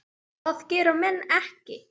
Það gera menn ekki.